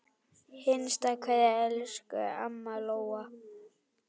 HINSTA KVEÐJA Elsku amma Lóa.